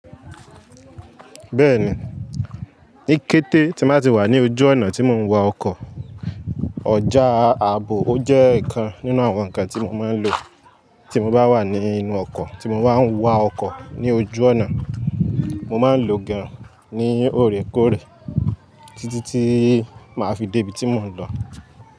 Bẹ́ẹ̀ni, ní kété tí m bà ti wà ní ojú ọ̀nà tí mò ń wa ọkọ̀, ọjà ààbò ó jẹ́ ikan nínú àwọn ǹkan tí mò máa ń lo tí mo bá wà ní inú ọkọ̀ tí mo bá ń wa ọkọ̀ ní ojú ọ̀nà. Mo máa ń lo gan ní òrékòoré títí tí màá fi débí tí mò ń lọ.